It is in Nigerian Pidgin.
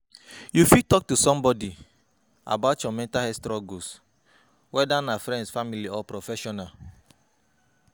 You fit talk to someone about your mental health struggles, whether na friend, family or professional.